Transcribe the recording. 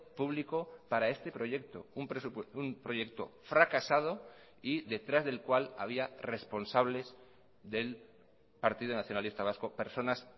público para este proyecto un proyecto fracasado y detrás del cual había responsables del partido nacionalista vasco personas